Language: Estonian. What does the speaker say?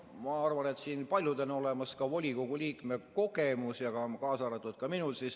Ma arvan, et siin paljudel on olemas ka volikogu liikme kogemus, kaasa arvatud minul.